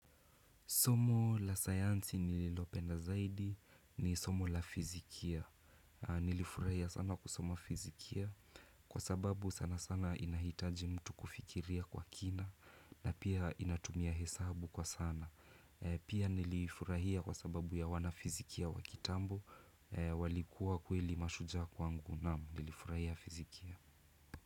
Somo la sayansi nililopenda zaidi ni somo la fizikia. Nilifurahia sana kusoma fizikia kwa sababu sana sana inahitaji mtu kufikiria kwa kina na pia inatumia hesabu kwa sana. Pia nilifurahia kwa sababu ya wana fizikia wa kitambo walikuwa kweli mashujaa kwangu na nilifurahia fizikia.